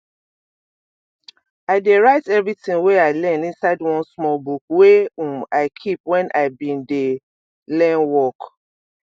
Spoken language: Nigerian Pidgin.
i dey write everything wey i learn inside one small book wey um i keep when i been dey learn work